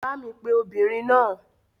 Bá mi pe obìnrin náà.